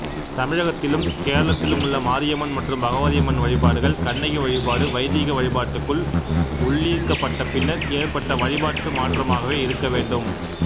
தமிழகத்திலும் கேரளத்திலுமுள்ள மாரியம்மன் மற்றும் பகவதியம்மன் வழிபாடுகள் கண்ணகி வழிபாடு வைதிக வழிபாட்டுக்குள் உள்ளீர்க்கப்பட்டபின்னர் ஏற்பட்ட வழிபாட்டுமாற்றமாகவே இருக்கவேண்டும்